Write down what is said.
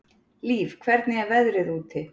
Líf, hvernig er veðrið úti?